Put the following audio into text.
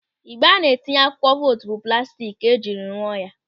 Ịgbe a na-etinye akwụkwọ vootu bụ plastik ka ejiri rụọ ya.